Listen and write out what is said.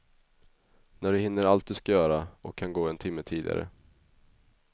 När du hinner allt du ska göra, och kan gå en timme tidigare.